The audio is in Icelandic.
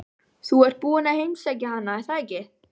Þú ert búinn að heimsækja hana, er það ekki?